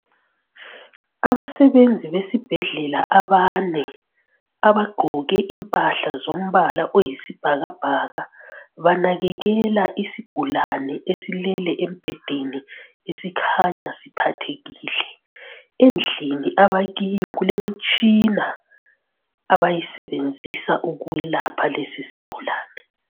Abasebenzi besibhedlela abane abagqoke impahla zombala oyisibhakabhaka banakekela isigulane esilele embhedeni esikhanya siphathekile. Endlini abakiyo kulemitshina abayisebenzisa ukwelapha lesisigulane.